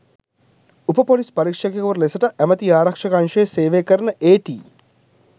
උප පොලිස් පරීක්ෂකවරයකු ලෙසට ඇමැති ආරක්ෂක අංශයේ සේවය කරන ඒ.ටී.